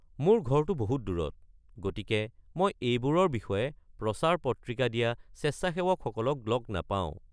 মোৰ ঘৰটো বহুত দূৰত, গতিকে মই এইবোৰৰ বিষয়ে প্ৰচাৰ-পত্ৰিকা দিয়া স্বেচ্ছাসেৱকসকলক লগ নাপাও।